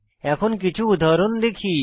এখন কিছু উদাহরণ দেখি